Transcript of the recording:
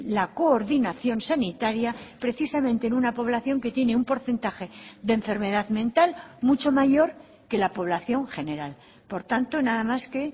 la coordinación sanitaria precisamente en una población que tiene un porcentaje de enfermedad mental mucho mayor que la población general por tanto nada más que